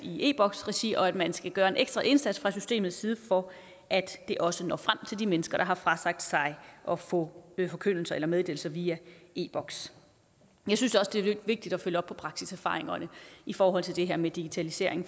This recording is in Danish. e boks regi og at man skal gøre en ekstra indsats fra systemets side for at det også når frem til de mennesker der har frasagt sig at få forkyndelser eller meddelelser via e boks jeg synes også det er vigtigt at følge op på praksiserfaringerne i forhold til det her med digitalisering